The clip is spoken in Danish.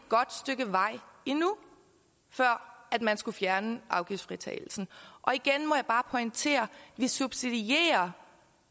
godt stykke vej endnu før man skulle fjerne afgiftsfritagelsen igen må jeg bare pointere vi subsidierer